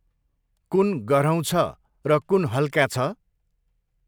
कुन गह्रौँ छ र कुन हल्का छ?